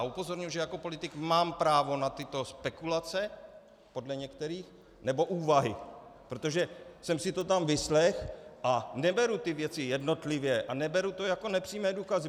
A upozorňuji, že jako politik mám právo na tyto spekulace, podle některých, nebo úvahy, protože jsem si to tam vyslechl a neberu ty věci jednotlivě a neberu to jako nepřímé důkazy.